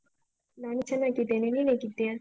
ನಾನು ಚೆನ್ನಾಗಿದ್ದೇನೆ, ನೀನ್ ಹೇಗಿದ್ಯಾ?